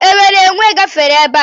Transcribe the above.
Enwere enwè gafere ebe a?